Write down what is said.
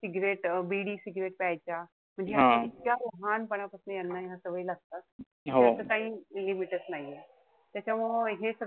Cigrette बिडी cigrette प्यायच्या. म्हणजे ह्या इतक्या लहानपणापासन यांना सवयी लागतात. त्याच काई limit च नाहीये. त्याच्यामुळं हे सगळं,